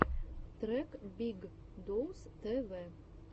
трек биг доус тэ вэ